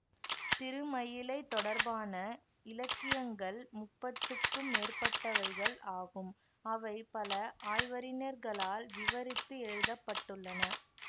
திருமயிலை தொடர்பான இலக்கியங்கள் முப்பத்துக்கும் மேற்பட்டவைகள் ஆகும் அவை பல ஆய்வறிஞர்களால் விவரித்து எழுத பட்டுள்ளன